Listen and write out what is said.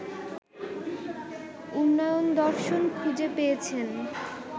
উন্নয়নদর্শন খুঁজে পেয়েছেন